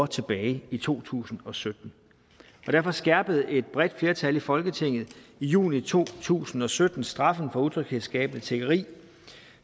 tilbage i to tusind og sytten derfor skærpede et bredt flertal i folketinget i juni to tusind og sytten straffen for utryghedsskabende tiggeri